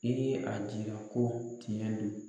I ye a jira ko tiɲɛ don